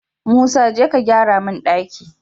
Musa jeka ka gyara mun ɗaki